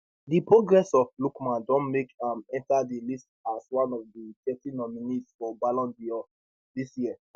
di progress of lookman don make am enta di list as one of di thirty nominees for ballon dor dis year